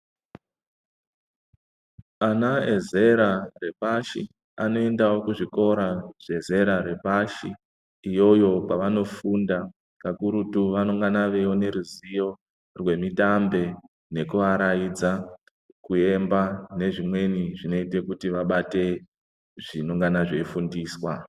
Ana ezera repashi anoendawo kuzvikora zvezera repashi iyoyo kwavanofunda kakurutu vanongana veiona ruzivo rwemitambe nekuaraidza ,kuemba nezvimweni zvinoita kuti vabate zvinongana zveifundiswa.